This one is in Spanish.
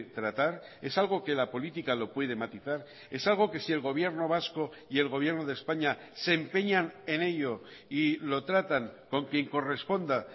tratar es algo que la política lo puede matizar es algo que si el gobierno vasco y el gobierno de españa se empeñan en ello y lo tratan con quién corresponda